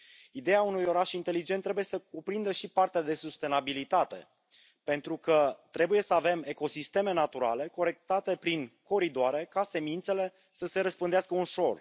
Ideea unui oraș inteligent trebuie să cuprindă și partea de sustenabilitate, pentru că trebuie să avem ecosisteme naturale corectate prin coridoare ca semințele să se răspândească ușor.